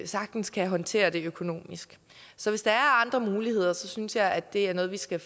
sagtens kan håndtere det økonomisk så hvis der er andre muligheder synes jeg at det er noget vi skal